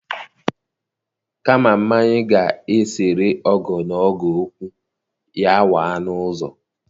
Kama mmanya ga-esere ọgọ na ọgọ okwu, ya waa n'ụzọ